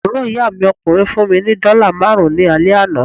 Àbúrò ìyá mi ọkùnrin fún mí ni dọ́là máàrún ní alẹ́ àná